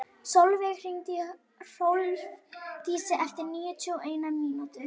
Solveig, hringdu í Hrólfdísi eftir níutíu og eina mínútur.